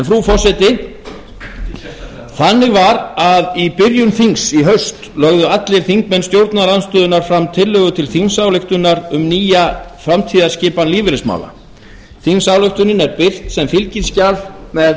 frú forseti þannig var að í byrjun þings í haust lögðu allir þingmenn stjórnarandstöðunnar fram tillögu til þingsályktunar um nýja framtíðarskipan lífeyrismála þingsályktuin er birt sem fylgiskjal með